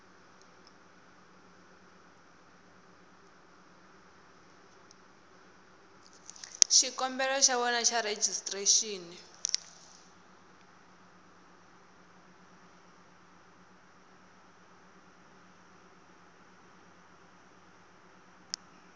xikombelo xa wena xa rejistrexini